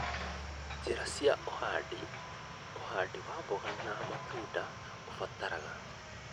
Njĩra cia ũhandi:ũhandi wa mboga na matunda ũbataraga